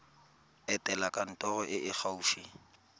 etela kantoro e e gaufi